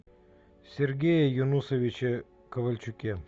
сергее юнусовиче ковальчуке